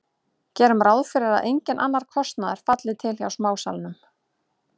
Gerum ráð fyrir að enginn annar kostnaður falli til hjá smásalanum.